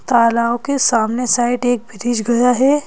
तालाबों के सामने साइड एक ब्रिज गया है।